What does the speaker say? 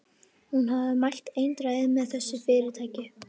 Hún hafði mælt eindregið með þessu fyrirtæki.